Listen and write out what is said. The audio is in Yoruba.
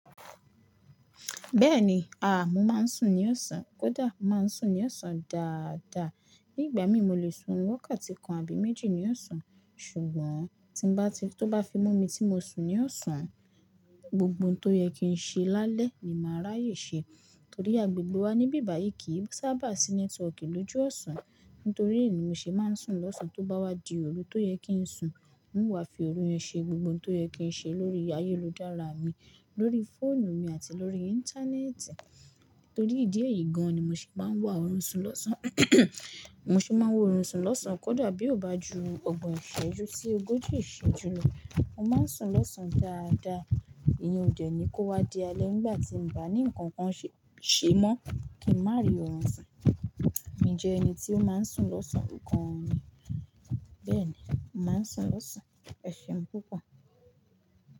Bẹ́ẹ̀ni, à mo máa ń sùn ní oọ̀sán, kódà máa ń sùn ní ọ̀osán dáadáa. Nígbà mí mo lè sùn oorun wakati kan àbí méjì ní ọ̀osán. Ṣùgbọ́n tí bá ti tó bá fi mú mi tí mo sùn ní ọ̀sán, gbogbo ohun tó yẹ kí n ṣe lálẹ́ ni màá ráyè ṣe. Torí agbègbè wa níbí báyìí kì í sábà sí network lóju ọ̀sán. Nítorí è ni mo ṣe máa ń sùn lọ́sàn tó bá wá di òru tó yẹ kí n sùn. Mo wá fi òru yẹn ṣe gbogbo ohun tó yẹ kí n ṣe lórí ayélujára mi, lórí fóònù mi àti lórí íńtánẹ́ẹ̀tì. Torí ìdí èyí gan an ni mo ṣe máa ń wá oorun sùn lọ́sán. Mo ṣe máa ń wa oorun sùn lọ́sán kódà bí ó bá ju ọgbọ̀n ìṣẹ́jú sí ogójì ìṣẹ́jú lọ. Mo máa ń sùn lọ́sán dáadáa. Ìyẹn ò dẹ́ ní kó wá di alẹ́ nígbà tí mo bá ní nǹkan kan ṣe mọ́ kí n má rí oorun sùn. Mi jẹ́ ẹni tí ó máa ń sùn lọ́sán nǹkan mi. Bẹ́ẹ̀ni, mo màá ń sùn lọ́sán. Ẹ ṣeun púpọ̀.